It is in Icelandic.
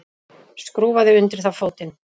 Skrúfaði undir það fótinn.